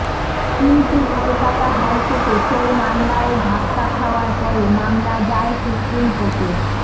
কিন্তু কলকাতা হাইকোর্টে সেই মামলায় ধাক্কা খাওয়ার পরে মামলা যায় সুপ্রিম কোর্টে